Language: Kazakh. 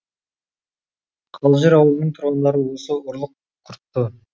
қалжыр ауылының тұрғындарын осы ұрлық құртты